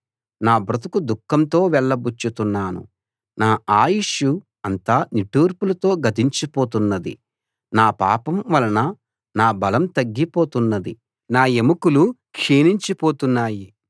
నా బ్రతుకు దుఃఖంతో వెళ్లబుచ్చుతున్నాను నా ఆయుష్షు అంతా నిట్టూర్పులతో గతించిపోతున్నది నా పాపం వలన నా బలం తగ్గిపోతున్నది నా ఎముకలు క్షీణించిపోతున్నాయి